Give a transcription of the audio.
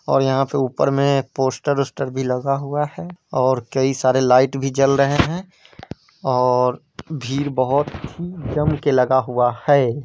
और यहाँ पे ऊपर में पोस्टर वोस्टर भी लगा हुआ है और कई सारे लाइट भी जल रहे है और भीड़ बहुत ही जम के लगा हुआ है।